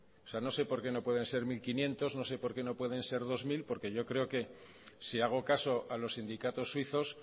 no sé porqué no pueden ser mil quinientos no sé porqué no pueden ser dos mil porque yo creo que si hago caso a los sindicatos suizos